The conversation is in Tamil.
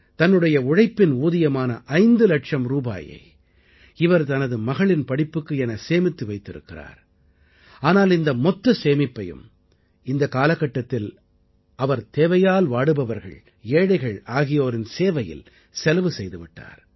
தன்னுடைய உழைப்பின் ஊதியமான 5 இலட்சம் ரூபாயை இவர் தனது மகளின் படிப்புக்கு என சேமித்து வைத்திருக்கிறார் ஆனால் இந்த மொத்த சேமிப்பையும் இந்த காலகட்டத்தில் அவர் தேவையால் வாடுபவர்கள் ஏழைகள் ஆகியோரின் சேவையில் செலவு செய்து விட்டார்